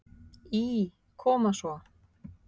Í Koma svo!